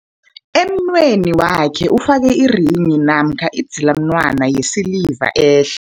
Emunweni wakhe ufake irenghi namkha idzilamunwana yesiliva ehle.